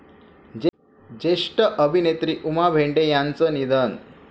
ज्येष्ठ अभिनेत्री उमा भेंडे यांचं निधन